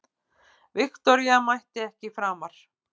Viktoría mætti ekki framar.